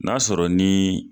N'a sɔrɔ ni